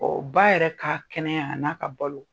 ba yɛrɛ ka kɛnɛya a n'a ka balo